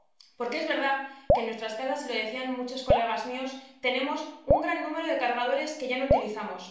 Porque es verdad que en nuestras casas ―y lo decían muchos colegas míos― tenemos un gran número de cargadores que ya no utilizamos.